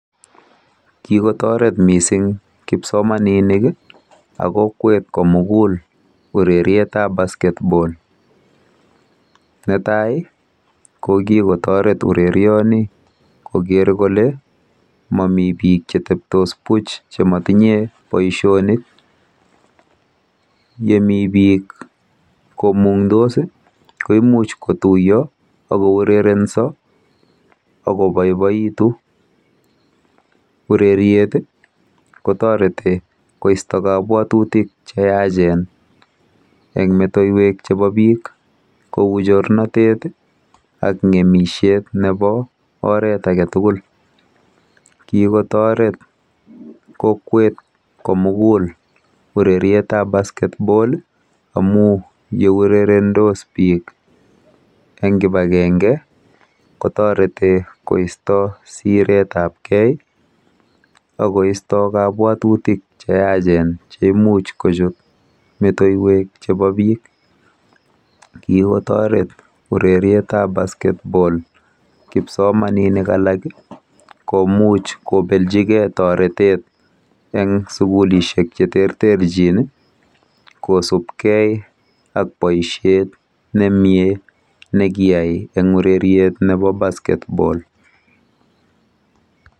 Kikotoret mising kipsomaninik ak emet komugul urerietab Bascketball. Netai ko kikotoret boisioni koker kole mami biik cheteptos buch amatinyei boisionik. Yemi biik komung'dos koimuch kotuiyo akourerenso akoboiboitu . Ureriet kotoreti koisto kabwatutik cheyachen eng metow chebo biik cheu chorset ak ng'emisiet nebo oret age tugul. Kikotoret biik urerietab Bascketball amuu yeurerendos biik eng kibagenge kotoreti koisto siretapkei akoisto kabwatutik cheyaachen cheimuch kochut metowek chebo biik. Kikotoret urerietab bascketball kipsomaninik komuch kobeljigei toretet eng sukulishek cheterterchin kosubkei ak boisiet nemie nekiyai eng ureriet nebo Bascketball.